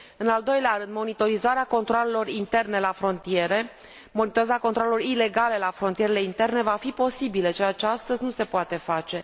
În al doilea rând, monitorizarea controalelor interne la frontiere, monitorizarea controalelor ilegale la frontierele interne va fi posibile, ceea ce astăzi nu se poate face.